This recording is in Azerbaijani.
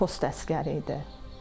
Xocavənddə post əsgəri idi.